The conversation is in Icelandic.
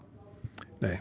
nei